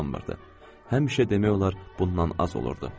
Həmişə demək olar bundan az olurdu.